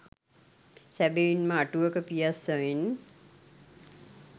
සැබවින්ම අටුවක පියස්ස මෙන්